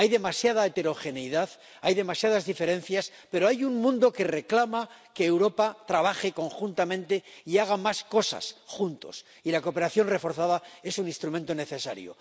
Hay demasiada heterogeneidad, hay demasiadas diferencias, pero hay un mundo que reclama que Europa trabaje conjuntamente y haga más cosas juntos, y la cooperación reforzada es un instrumento necesario.